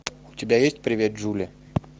у тебя ест привет джули